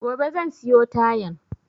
Gobe zan siyo tayan